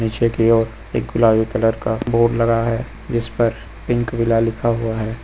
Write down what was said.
पीछे की ओर एक गुलाबी कलर का बोर्ड लगा हुआ है जिस पर पिंक विला लिखा हुआ है।